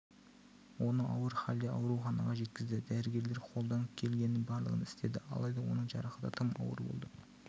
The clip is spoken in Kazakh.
оны ауыр халде ауруханаға жеткізді дәрігерлер қолдан келгеннің барлығын істеді алайда оның жарақаты тым ауыр болды